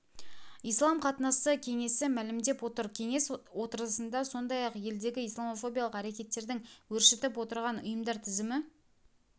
ислам қатынасы кеңесі мәлімдеп отыр кеңес отырысында сондай-ақ елдегі исламофобиялық әрекеттердң өршітіп отырған ұйымдар тізімі